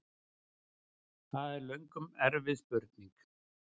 Það er löngum erfið spurning!